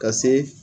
Ka se